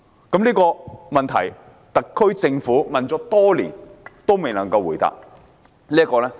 對於特區政府迴避保險的問題，我甚感失望。